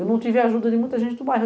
Eu não tive ajuda de muita gente do bairro.